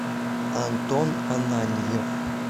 антон ананьев